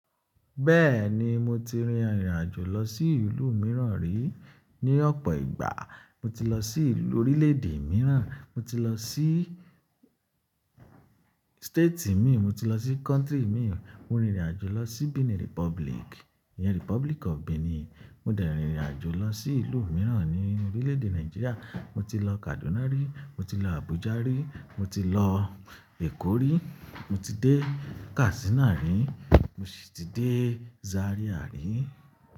Bẹ́ẹ̀ni mo ti rin ìrìn àjò lọ sí ìlú mìíràn rí ní ọ̀pọ̀ ìgbà. Mo ti lọ sí orílè-èdè mìíràn, mo ti lọ sí state mii, mo ti lọ sí country mii. Mo rin ìrìn àjò lọ sí Benin Republic, ìyẹn Republic of Benin. Mo dẹ̀ rin ìrìn àjò lọ sí ìlú mìíràn ní orílè-èdè Nigeria. Mo ti lọ Kaduna rí, mo ti lọ Abuja rí, mo ti lọ Èkó rí, mo ti dé Katsina rí, mo sì ti dé Zaria rí.